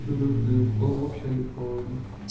в общаге холодно